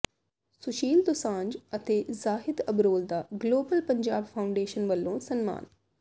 ਸੁੁਸ਼ੀਲ ਦੋਸਾਂਝ ਅਤੇ ਜ਼ਾਹਿਦ ਅਬਰੋਲ ਦਾ global Punjab foundation ਵੱਲੋਂ ਸਨਮਾਨ